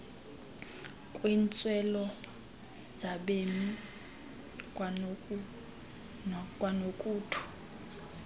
kwiintswelo zabemi kwanokuthu